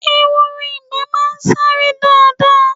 Ehoro ìgbẹ́ máa ń sáré dáadáa